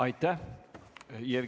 Aitäh!